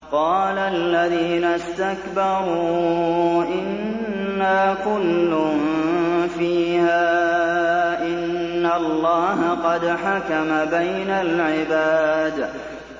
قَالَ الَّذِينَ اسْتَكْبَرُوا إِنَّا كُلٌّ فِيهَا إِنَّ اللَّهَ قَدْ حَكَمَ بَيْنَ الْعِبَادِ